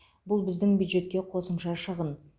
бұл біздің бюджетке қосымша шығын